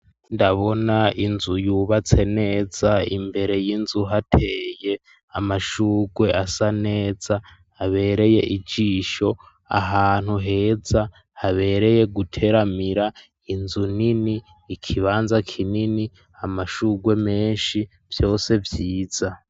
Ndabona inzu, yubatse neza; imbere y'inzu, hateye amashurwe, asa neza, habereye ijisho; ahantu heza, habereye guteramira; inzu nini, ikibanza kinini, amashurwe menshi, vyose vyiza.